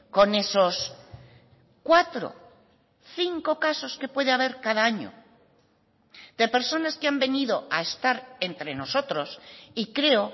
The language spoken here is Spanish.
con esos cuatro cinco casos que puede haber cada año de personas que han venido a estar entre nosotros y creo